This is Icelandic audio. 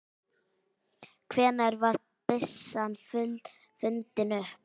Hvenær var byssan fundin upp?